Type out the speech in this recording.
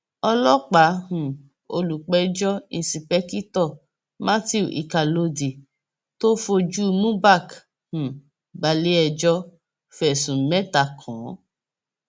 ọlọpàá um olùpẹjọ ìńṣepèkìtọ matthew ikhalódee tó fojú mubak um balẹẹjọ fẹsùn mẹta kàn án